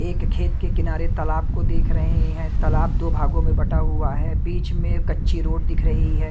एक खेत के किनारे तालाब को देख रहे हैं तालाब दो भागों में बंटा हुआ है बीच में कच्ची रोड दिख रही है।